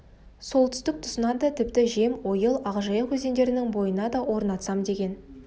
солтүстік тұсына да тіпті жем ойыл ақ жайық өзендерінің бойына да орнатсам деген